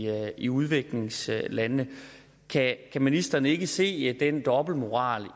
i udviklingslandene kan ministeren ikke se den dobbeltmoral